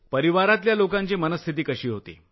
कुटुंबातल्या लोकांची मनःस्थिती कशी होती